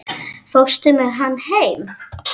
Fórstu með hana heim?